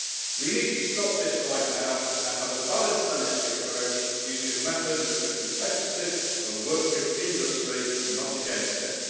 We need to stop this right now and have a balanced energy approach, using methods which are competitive and work with industry, not against it.